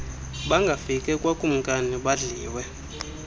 bangafike kwakumkani badliwe